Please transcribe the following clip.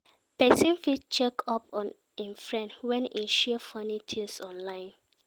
Persin fit check up on im friend when e share funny things online